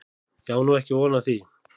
Ég á nú ekki von á því.